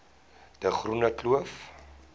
de groene kloof